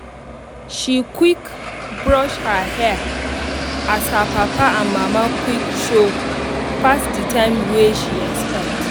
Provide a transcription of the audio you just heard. she quick brush her hair as her papa and mama quick show pass the time wey she expect